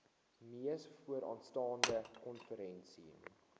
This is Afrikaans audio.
mees vooraanstaande konferensie